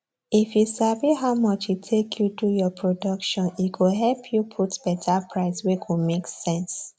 if you sabi how much e take you do your production e go help you put better price wey go make sense